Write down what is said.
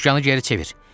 Sükanı geri çevir!